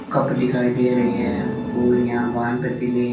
cup दिखाई दे रहे है और यहां बान पतीले --